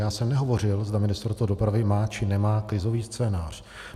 Já jsem nehovořil, zda Ministerstvo dopravy má či nemá krizový scénář.